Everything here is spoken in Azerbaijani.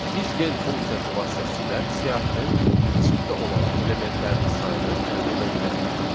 Biz len funksiyası vasitəsilə siyahının içində olan elementlərin sayını əldə edə bilərik.